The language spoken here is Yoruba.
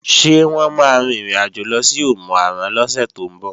Ṣé wọ́n máa rin ìrìnàjò lọ sí Òmù-àrán lọ́sẹ̀ tó ń bọ̀?